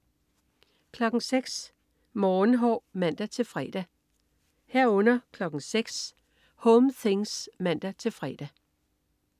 06.00 Morgenhår (man-fre) 06.00 Home things (man-fre)